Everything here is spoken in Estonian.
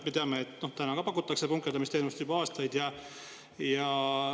Me teame, et punkerdamisteenust pakutakse juba aastaid.